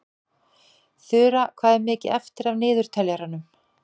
Þura, hvað er mikið eftir af niðurteljaranum?